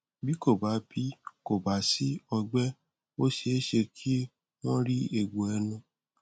bí kò bá bí kò bá sí ọgbẹ ó ṣeéṣe kí wọn rí egbò ẹnu